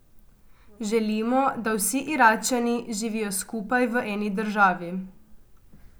Želimo, da vsi Iračani živijo skupaj v eni državi.